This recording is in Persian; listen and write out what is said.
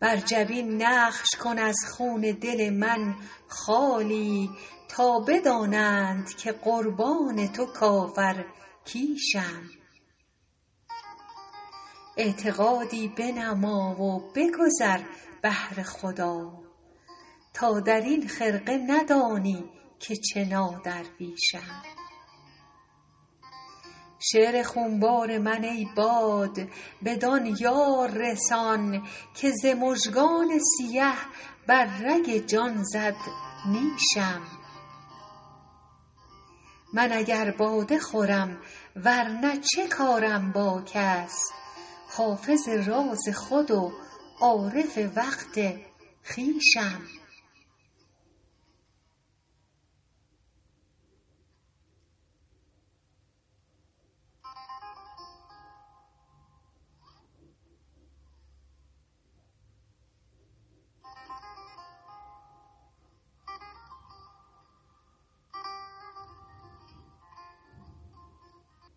بر جبین نقش کن از خون دل من خالی تا بدانند که قربان تو کافرکیشم اعتقادی بنما و بگذر بهر خدا تا در این خرقه ندانی که چه نادرویشم شعر خونبار من ای باد بدان یار رسان که ز مژگان سیه بر رگ جان زد نیشم من اگر باده خورم ور نه چه کارم با کس حافظ راز خود و عارف وقت خویشم